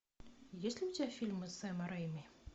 есть ли у тебя фильмы сэма рэйми